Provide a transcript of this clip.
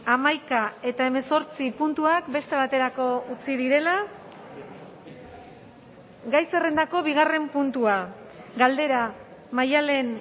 hamaika eta hemezortzi puntuak beste baterako utzi direla gai zerrendako bigarren puntua galdera maddalen